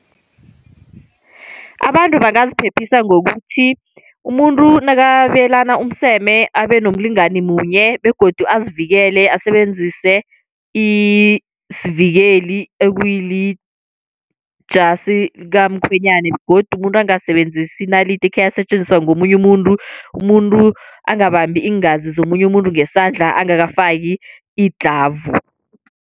Abantu bangaziphephisa ngokuthi umuntu nakababelana umseme abe nomlingani munye, begodu azivikele asebenzise isivikeli ekuyijasi likamkhwenyana, begodu umuntu angasebenzisi inalidi ekheyasetjenziswa ngomunye umuntu. Umuntu angabambi iingazi zomunye umuntu ngesandla angakafiki idlhavu.